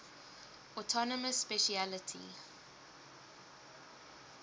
autonomous specialty